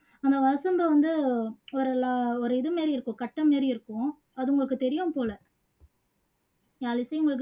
அந்த வசம்பை வந்து ஒரு ல ஒரு இது மாதிரி இருக்கும் கட்ட மாதிரி இருக்கும் அது உங்களுக்கு தெரியும் போல யாழிசை உங்களுக்கு